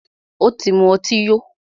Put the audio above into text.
Ó tí mú ọtí yó.